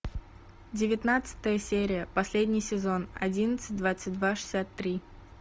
девятнадцатая серия последний сезон одиннадцать двадцать два шестьдесят три